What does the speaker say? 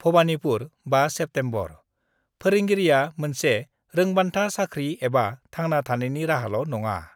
Bhawanipur, 5 September :' फोरोंगिरिआ मोनसे रोंबान्था, साखि एबा थांना थानायनि राहाल' नङा।